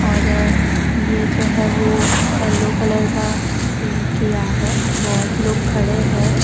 और ये जो है वो येलो कलर का पेंट किया है बहोत लोग खड़े हैं।